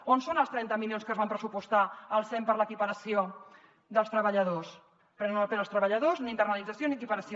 on són els trenta milions que es van pressupostar al sem per a l’equiparació dels treballadors prenen el pèl als treballadors ni internalització ni equiparació